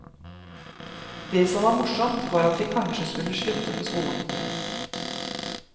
Det som var morsomt, var at vi kanskje skulle slutte på skolen.